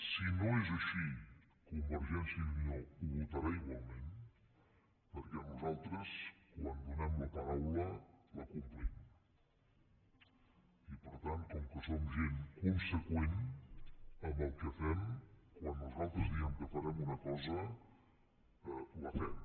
si no és així convergència i unió ho votarà igualment perquè nosaltres quan donem la paraula la complim i per tant com que som gent conseqüent amb el que fem quan nosaltres diem que farem una cosa la fem